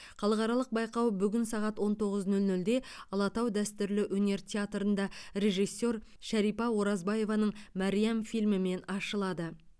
халықаралық байқау бүгін сағат он тоғыз нөл нөлде алатау дәстүрлі өнер театрында режиссер шарипа оразбаеваның мәриам фильмімен ашылады